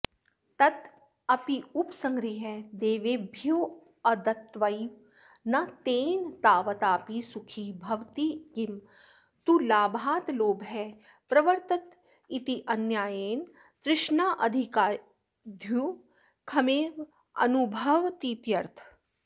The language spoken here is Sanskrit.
तदप्युपसंगृह्य देवेभ्योऽदत्त्वैव न तेन तावतापि सुखी भवेत्किं तु लाभाल्लोभः प्रवर्तत इतिन्यायेन तृष्णाधिक्याद्दुःखमेवानुभवतीत्यर्थः